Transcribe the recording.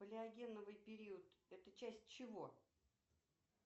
палеогеновый период это часть чего